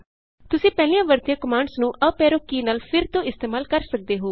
ਤੁਸੀਂ ਪਹਿਲਾਂ ਵਰਤੀਆਂ ਕਮਾਂਡਜ਼ ਨੂੰ ਅਪ ਐਰੋ ਕੀ ਨਾਲ ਫਿਰ ਤੋਂ ਇਸਤੇਮਾਲ ਕਰ ਸਕਦੇ ਹੋ